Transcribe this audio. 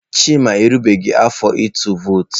Chima erubeghị afọ ịtụ vootu.